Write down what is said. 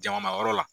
Jama ma yɔrɔ la